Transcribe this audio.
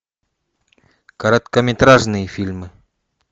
короткометражные фильмы